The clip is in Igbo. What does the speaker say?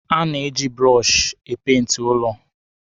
A na-eji bụrọshị e peenti ụlọ.